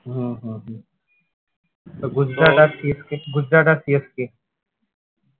হুম হুম হুম তো গুজরাট গুজরাট আর CSK